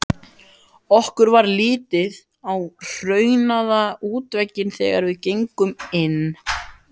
Okkur varð litið á hraunaða útveggina þegar við gengum inn.